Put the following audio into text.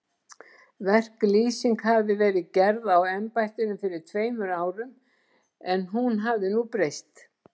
Verklýsing hafi verið gerð á embættinu fyrir tveimur árum, en hún hafi nú breyst.